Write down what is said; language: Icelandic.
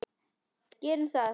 Gerum það!